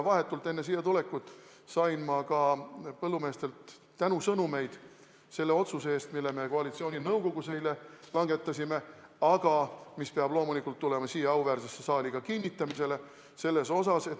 Vahetult enne siia tulekut sain ma ka põllumeestelt tänusõnumeid selle otsuse eest, mille me koalitsiooninõukogus eile langetasime, aga mis peab loomulikult tulema siia auväärsesse saali ka kinnitamisele.